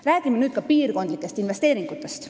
Räägime nüüd piirkondlikest investeeringutest.